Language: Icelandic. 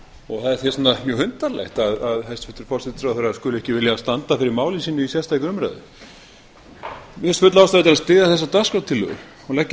og þess vegna er mjög undarlegt að hæstvirtur forsætisráðherra skuli ekki vilja standa fyrir máli sínu í sérstakri umræðu mér finnst full ástæða til að styðja þessa dagskrártillögu og leggja